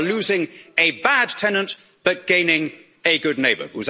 sponsor. You are losing a bad tenant but gaining a good